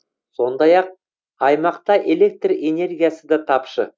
сондақ ақ аймақта электр энергиясы да тапшы